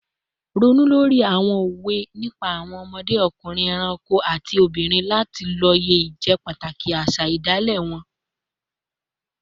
Ronú lórí àwọn òwe nípa àwọn ọmọdé, ọkùnrin, ẹranko, àti obìnrin láti lóye ìjẹ́pàtàkì àṣà ìṣẹ̀dálẹ̀ wọn